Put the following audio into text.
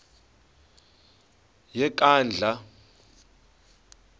yenkandla